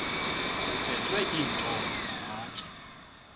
kuphethwe iintonga namatye